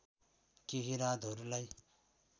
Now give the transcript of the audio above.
केही रातहरूलाई